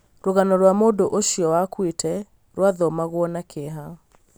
rũgano rwa mũndũ ũcio wakuĩte rũathomagwo na kĩeha